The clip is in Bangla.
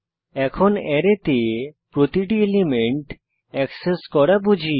এখন অ্যারেতে প্রতিটি এলিমেন্ট এক্সেস করা বুঝি